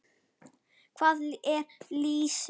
Hvað er lýsi?